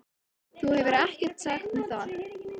Þú hefur ekkert sagt mér það!